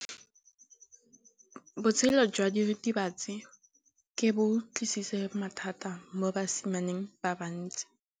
Botshelo jwa diritibatsi ke bo tlisitse mathata mo basimaneng ba bantsi.